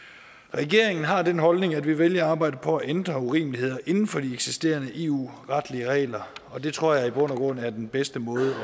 regeringen har den holdning at vi vælger at arbejde på at ændre urimeligheder inden for de eksisterende eu retlige regler og det tror jeg i bund og grund er den bedste måde